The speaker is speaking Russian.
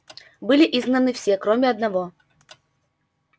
были изгнаны все кроме одного